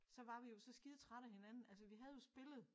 Så var vi jo så skide trætte af hinanden altså vi havde jo spillet